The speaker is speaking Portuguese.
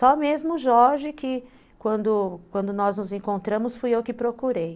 Só mesmo o Jorge, que quando quando nós nos encontramos, fui eu que procurei.